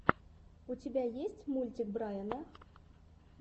у тебя есть мультик брайна